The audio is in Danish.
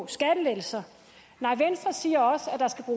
skattelettelser venstre siger